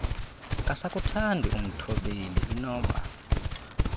akasakuthandi umthobleli inoba